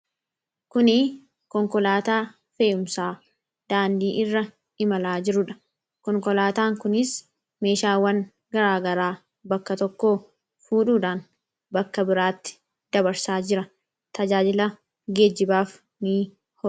kuni konkolaataa feeyumsaa daandii irra imalaa jiruudha konkolaataan kunis meeshaawwan garaagaraa bakka tokko fuudhuudhaan bakka biraatti dabarsaa jira tajaajila geejjibaaf ni oola